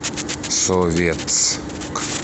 советск